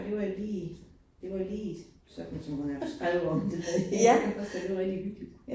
Det var jo lige, det var lige sådan som hun har haft skrevet om det, så det var rigtig hyggeligt